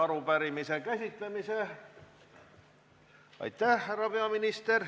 Lõpetame selle arupärimise.